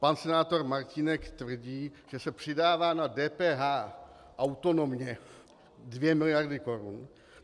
Pan senátor Martínek tvrdí, že se přidává na DPH autonomně 2 miliardy korun.